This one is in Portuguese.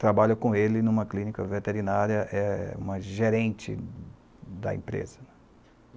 Trabalha com ele em uma clínica veterinária, uma gerente da empresa.